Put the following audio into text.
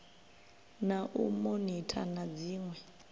na u monitha na dziṋwe